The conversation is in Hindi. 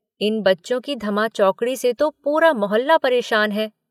इन बच्चों की धमाचौकड़ी से तो पूरा मोहल्ला परेशान है।